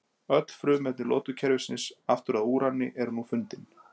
öll frumefni lotukerfisins aftur að úrani voru nú fundin